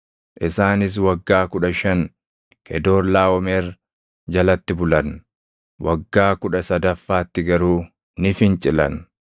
Isaanis waggaa kudha shan Kedoorlaaʼomer jalatti bulan; waggaa kudha sadaffaatti garuu ni fincilan.